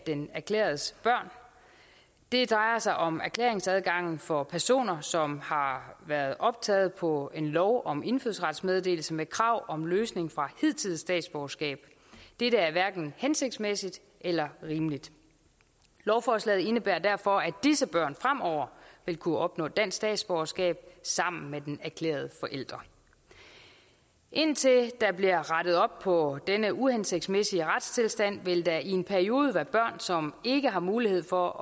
den erklærendes børn det drejer sig om erklæringsadgangen for personer som har været optaget på en lov om indfødsrets meddelelse med krav om løsning for hidtidigt statsborgerskab dette er hverken hensigtsmæssigt eller rimeligt lovforslaget indebærer derfor at disse børn fremover vil kunne opnå dansk statsborgerskab sammen med den erklærende forælder indtil der bliver rettet op på denne uhensigtsmæssige retstilstand vil der i en periode være børn som ikke har mulighed for